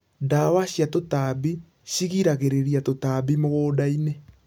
Ndawa cia tũtambi cigiragĩrĩria tũtambi mũgundainĩ.